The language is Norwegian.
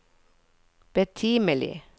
betimelig